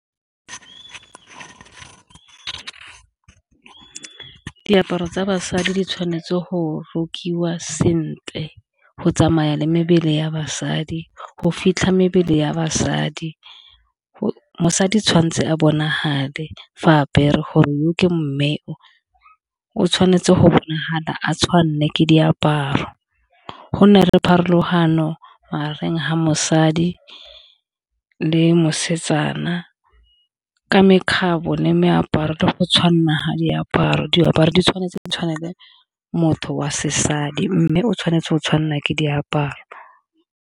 Diaparo tsa basadi di tshwanetse go rokiwa sentle go tsamaya le mebele ya basadi, go fitlha mebele ya basadi . Mosadi tshwantse a bonagale fa apere gore yo ke mme o, o tshwanetse go bonagala a tshwanelwe ke diaparo, gonne le pharologano magareng ga mosadi le mosetsana ka mekgabo ya meaparo le go tshwanela ga diaparo. Diaparo di tshwanetse di tshwaneLe motho wa se sadi, mme o tshwanetse o tshwanelwa ke diaparo.